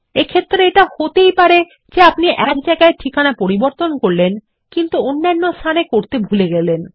এক্ষেত্রে এটা হতেই পারে যে এক জায়গায় ঠিকানা পরিবর্তন করলেন কিন্তু অন্যান্য স্থানে পরিবর্তন করতে ভুলে গেলেন